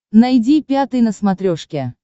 найди пятый на смотрешке